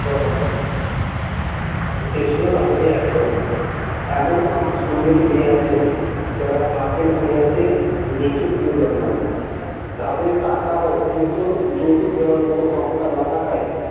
সে ছিল তাদেরই একজন তেমন অনেক সুন্দরী মেয়ে আছে যারা ভাগ্যের পরিহাসে নিচু কূলে জন্মায় তাদের টাকা বা উপযুক্ত যৌতুক দেবার ক্ষমতা না থাকায়।